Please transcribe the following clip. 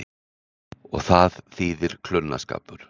Og það þýðir klunnaskapur.